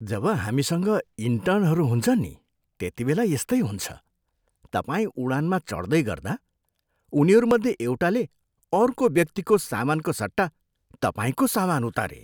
जब हामीसँग इन्टर्नहरू हुन्छन् नि, त्यतिबेला यस्तै हुन्छ। तपाईँ उडानमा चढ्दै गर्दा उनीहरूमध्ये एउटाले अर्को व्यक्तिको सामानको सट्टा तपाईँको सामान उतारे।